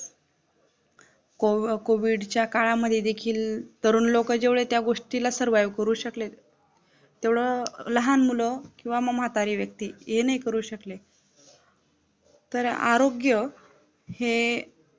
Covid च्या काळामधी देखील तरुण लोक जेवढ त्या गोष्टीला Survive करू शकले तेवढ लहान मुलं किंवा म म्हातारी व्यक्ती हे नाही करू शकले तर आरोग्य हे